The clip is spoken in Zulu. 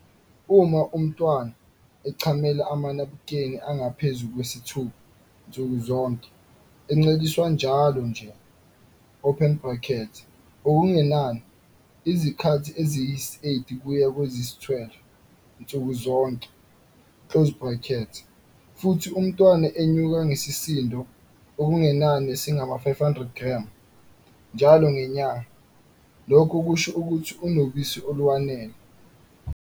Uma umntwana echamela amanabukeni angaphezu kwayisithupha nsuku zonke, enceliswa njalo nje open brackets okungenani izikhathi eziyisi-8 kuya kweziyi-12 nsuku zonke, futhi umntwana enyuka ngesisindo okungenani esingama-500g njalo ngenyanga, lokho kusho ukuthi unobisi olwanele.